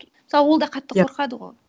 мысалы ол да қатты қорқады ғой